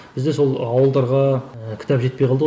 бізде сол ауылдарға ыыы кітап жетпей қалды ғой